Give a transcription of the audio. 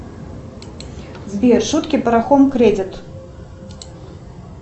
сбер шутки про хом кредит